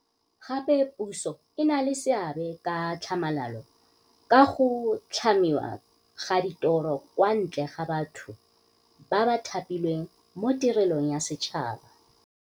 Gape puso e na le seabe ka tlhamalalo sa go tlhamiwa ga ditiro kwa ntle ga batho ba ba thapilweng mo tirelong ya setšhaba.